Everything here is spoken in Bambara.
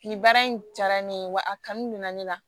Nin baara in diyara ne ye wa a kanu bɛ na ne la